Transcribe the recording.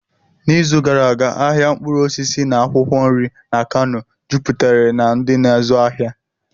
N'izu gara aga, ahịa mkpụrụ osisi na akwụkwọ nri na Kanu juputere na ndi na-azu afia.